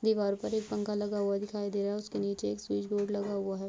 दिवार पर एक पंखा लगा हुआ दिखाई दे रहा है उसके नीचे एक स्विच बोर्ड लगा हुआ है।